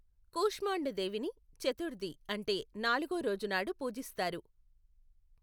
కుష్మాండా దేవిని చతుర్థి అంటే నాలుగో రోజు నాడు పూజిస్తారు.